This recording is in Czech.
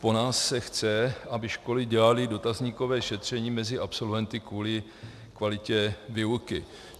Po nás se chce, aby školy dělaly dotazníkové šetření mezi absolventy kvůli kvalitě výuky.